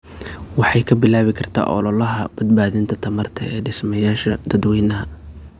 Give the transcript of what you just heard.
Waxay ka bilaabi kartaa ololaha badbaadinta tamarta ee dhismayaasha dadweynaha.